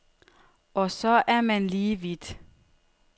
Og så er man lige vidt.